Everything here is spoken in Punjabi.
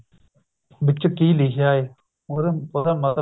ਵਿੱਚ ਕੀ ਲਿਖਿਆ ਏ ਹੋਰ ਉਹਦਾ ਮਤਲਬ